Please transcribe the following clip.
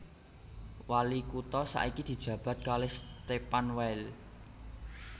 Wali kutha saiki dijabat kalih Stephan Weil